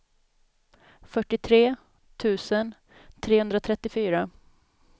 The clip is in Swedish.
fyrtiotre tusen trehundratrettiofyra